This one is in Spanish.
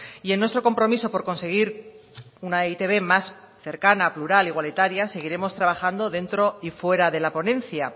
y en nuestro compromiso por conseguir una e i te be más cercana plural igualitaria seguiremos trabajando dentro y fuera de la ponencia